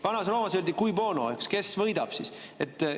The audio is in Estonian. Vanas Roomas küsiti: "Cui bono?", "Kes võidab?".